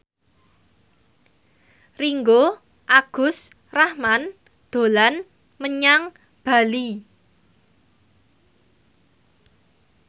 Ringgo Agus Rahman dolan menyang Bali